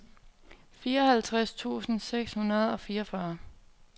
fireoghalvtreds tusind seks hundrede og fireogfyrre